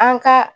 An ka